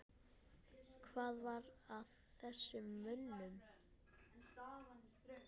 Hvað var að þessum mönnum?